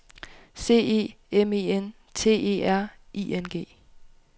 C E M E N T E R I N G